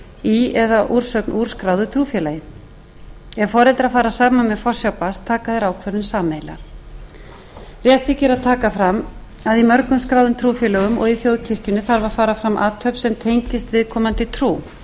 í eða eða úrsögn úr skráðu trúfélagi ef foreldrar fara saman með forsjá barns taka þeir ákvörðun sameiginlega rétt þykir að taka fram að í mörgum skráðum trúfélögum og í þjóðkirkjunni þarf að fara fram athöfn sem tengist viðkomandi trú eins og til dæmis skírn hjá